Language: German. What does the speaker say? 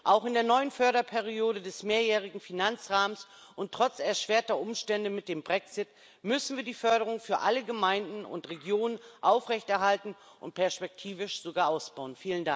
Auch in der neuen Förderperiode des mehrjährigen Finanzrahmens und trotz erschwerter Umstände mit dem Brexit müssen wir die Förderung für alle Gemeinden und Regionen aufrechterhalten und perspektivisch sogar ausbauen.